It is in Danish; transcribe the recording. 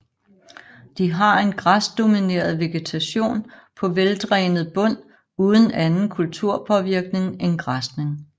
De har en græsdomineret vegetation på veldrænet bund uden anden kulturpåvirkning end græsning